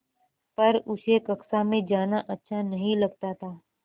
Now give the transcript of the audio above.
पर उसे कक्षा में जाना अच्छा नहीं लगता था